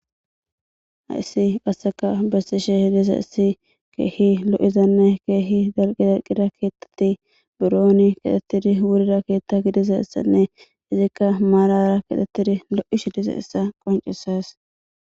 Ha issi qasseka bessishshe dizayssi keehi lo'izanne keehi xolqi dalqida keettatti burooni katettidi wurira keetta gidiza issanne izikka maalara kitettidi lo'ii dizayissa qoncissees